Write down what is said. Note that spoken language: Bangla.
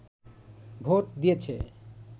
ভোট দিয়েছে